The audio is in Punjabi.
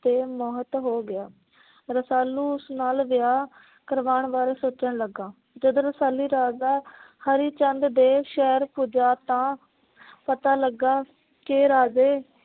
ਤੇ ਮੋਹਿਤ ਹੋ ਗਿਆ। ਰਸਾਲੂ ਉਸ ਨਾਲ ਵਿਆਹ ਕਰਵਾਣ ਬਾਰੇ ਸੋਚਣ ਲੱਗਾ। ਜਦੋ ਰਸਾਲੂ ਰਾਜਾ ਹਰਿ ਚੰਦ ਦੇ ਸ਼ਹਿਰ ਪੁੱਜਾ ਤਾਂ ਪਤਾ ਲਗਾ ਕੇ ਰਾਜੇ